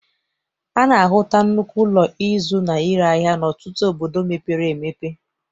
A na-ahụta nnukwu ụlọ ịzụ na ire ahia n'ọtụtụ obodo mepere emepe.